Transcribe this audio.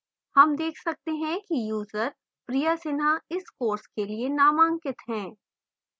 हम देख सकते हैं कि यूजर priya sinha इस course के लिए नामांकित enrolled है